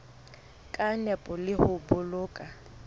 ka nepo le ho boloka